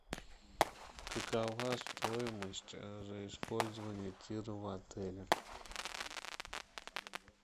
какова стоимость за использование тира в отеле